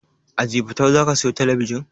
A jifatu zaka siyo talabijin?